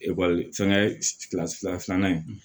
ekɔli fɛngɛ fila filanan in